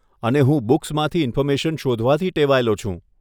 અને હું બૂક્સમાંથી ઇન્ફોર્મેશન શોધવાથી ટેવાયેલો છું.